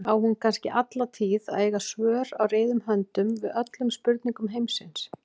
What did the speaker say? Á hún kannski alla tíð að eiga svör á reiðum höndum við öllum spurningum heimsins?